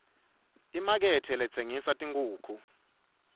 imakethe letsengisa tinkhukhu